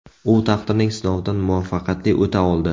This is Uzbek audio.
U taqdirning sinovidan muvaffaqiyatli o‘ta oldi.